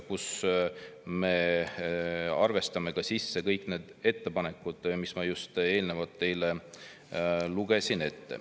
Seal me arvestame ka kõiki neid ettepanekuid, mis ma just teile ette lugesin.